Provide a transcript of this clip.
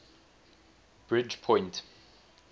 bridgepoint